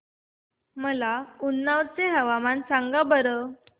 मला उन्नाव चे हवामान सांगा बरं